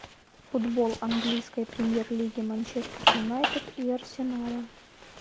футбол английской премьер лиги манчестер юнайтед и арсенала